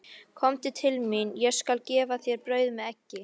Komdu til mín, ég skal gefa þér brauð með eggi.